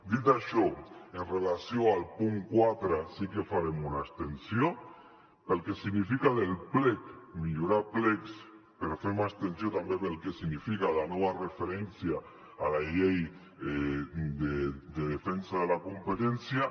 dit això amb relació al punt quatre sí que farem una abstenció pel que significa del plec millorar plecs però fem abstenció també pel que significa la nova referència a la llei de defensa de la competència